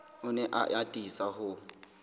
o ne a atisa ho